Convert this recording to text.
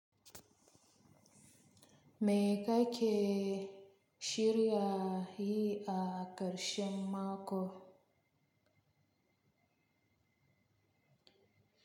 Me ka ke shirya yi a ƙarshen mako?